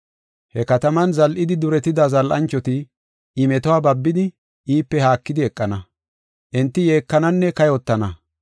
He kataman zal7idi duretida zal7anchoti I metuwa babidi iipe haakidi eqana. Enti yeekananne kayotana.